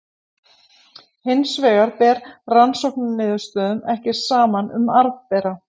Hins vegar ber rannsóknarniðurstöðum ekki saman um arfbera.